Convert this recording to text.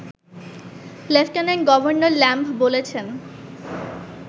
lieutenant governor Lamb বলেছেন